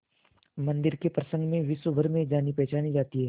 मंदिर के प्रसंग में विश्वभर में जानीपहचानी जाती है